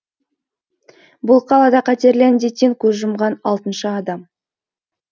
бұл қалада қатерлі індеттен көз жұмған алтыншы адам